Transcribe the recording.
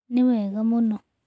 Nĩ wega mũno.